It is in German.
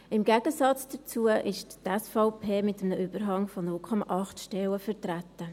Im Gegensatz dazu ist die SVP mit einem Überhang von 0,8 Stellen vertreten.